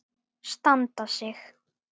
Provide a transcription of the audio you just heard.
Standa sig.